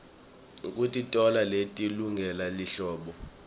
kukitona leti lungele lihlobo